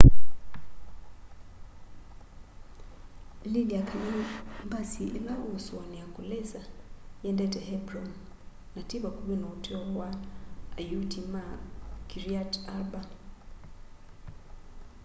lilya kana mbasi ila uusuania kulisa yiendete hebron na ti vakuvi na utuo wa ayuti ma kiryat arba